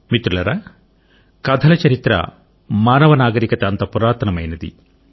మిత్రులారా కథల చరిత్ర మానవ నాగరికత అంత పురాతనమైంది